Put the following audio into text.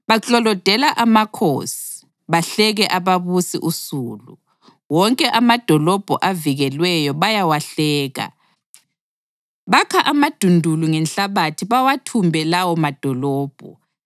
Baklolodela amakhosi, bahleke ababusi usulu. Wonke amadolobho avikelweyo bayawahleka; bakha amadundulu ngenhlabathi bawathumbe lawo madolobho.